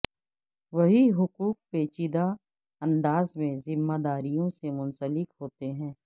وہی حقوق پیچیدہ انداز میں ذمہ داریوں سے منسلک ہوتے ہیں